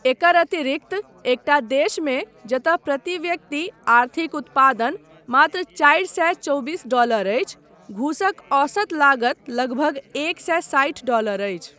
एकर अतिरिक्त एकटा देशमे जतय प्रति व्यक्ति आर्थिक उत्पादन मात्र चारि सए चौबीस डॉलर अछि, घूसक औसत लागत लगभग एक सए साठि डॉलर अछि।